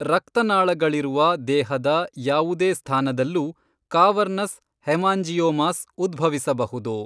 ರಕ್ತನಾಳಗಳಿರುವ ದೇಹದ ಯಾವುದೇ ಸ್ಥಾನದಲ್ಲೂ ಕಾವರ್ನಸ್ ಹೆಮಾಂಜಿಯೋಮಾಸ್ ಉದ್ಭವಿಸಬಹುದು.